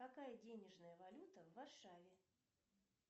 какая денежная валюта в варшаве